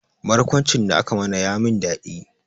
Barkwancin da aka mana ya min dadi